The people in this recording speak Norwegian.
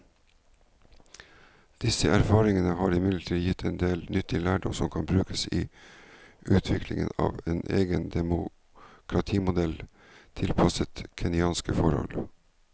Disse erfaringene har imidlertid gitt en del nyttig lærdom som kan brukes i utviklingen av en egen demokratimodell tilpasset kenyanske forhold.